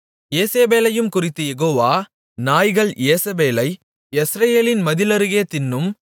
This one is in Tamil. யேசேபேலையும் குறித்துக் யெகோவா நாய்கள் யேசபேலை யெஸ்ரெயேலின் மதில் அருகே தின்னும்